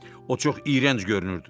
O çox iyrənc görünürdü.